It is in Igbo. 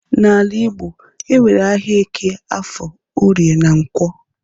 N'ala igbo enwere ahịa eke, afọ, orie na nkwọ